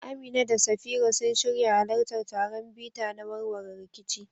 Aminu da Safira sun shirya halartar taron bita na warware rikici